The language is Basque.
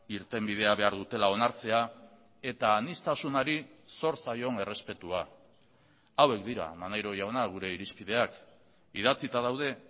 irtenbidea behar dutela onartzea eta aniztasunari zor zaion errespetua hauek dira maneiro jauna gure irizpideak idatzita daude